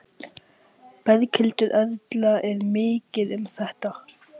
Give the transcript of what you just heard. Berghildur Erla: Er mikið um þetta?